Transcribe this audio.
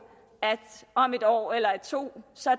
at om et år eller to